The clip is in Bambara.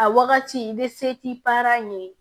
A wagati i be se t'i para yen